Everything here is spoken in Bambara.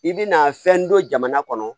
I bɛna fɛn dɔ jamana kɔnɔ